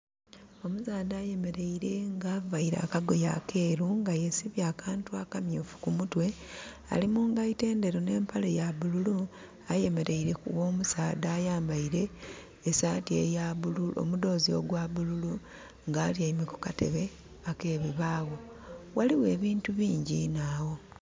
Omusaadha ayemeleire nga availe akagoye akeeru, nga yesibye akantu akamyuufu ku mutwe. Ali mu ngaito endheru ne mpale ya bululu. Ayemeleire ku gho musaadha ayambaile omudhoozi ogwa bululu, nga atyaime ku katebe ak'ebibaawo. Ghaligho ebintu bingyi inho agho.